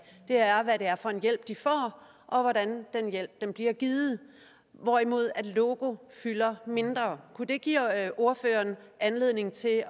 er hvad det er for en hjælp de får og hvordan den hjælp bliver givet hvorimod logo fylder mindre kunne det give ordføreren anledning til at